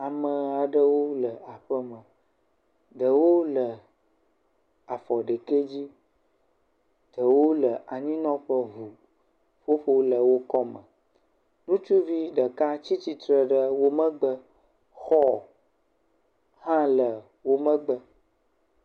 Ame aɖewo le aƒe me ɖewo le afɔ ɖekɛ dzi, ɖewo le anyinɔƒe vo, ƒoƒo le wo kɔme, ŋutsuvi ɖeka tsitre ɖe wo megbe, xɔ hã le wo megbe.